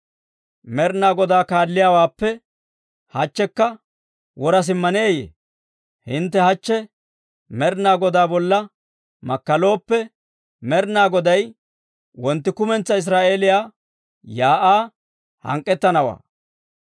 Med'ina Godaa kaalliyaawaappe hachchikka wora simmaneeyee? « ‹Hintte hachche Med'ina Godaa bolla makkalooppe, Med'ina Goday wontti kumentsaa Israa'eeliyaa shiik'uwaa hank'k'ettanawaa.